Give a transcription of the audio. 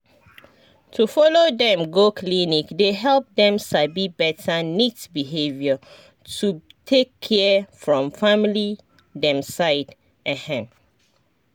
to follow dem go clinic dey help dem sabi better neat behavior to take care from family dem side ehn